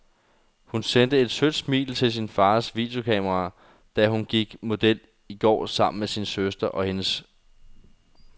Hun sendte et sødt smil til sin fars videokamera, da hun gik model i går sammen med sin søster og lille niece.